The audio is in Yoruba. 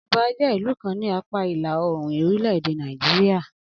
Anambra jẹ́ ìlú kan ni apáa ìlà oòrùn orílẹ̀-èdè Nàìjíríà